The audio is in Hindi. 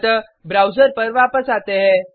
अतः ब्राउज़र पर वापस आते है